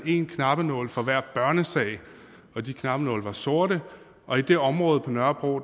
en knappenål for hver børnesag og de knappenåle var sorte og i det område på nørrebro